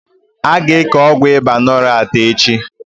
Aga eke Ọgwụ ịba lonart echi